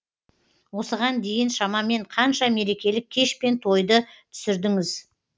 осыған дейін шамамен қанша мерекелік кеш пен тойды түсірдіңіз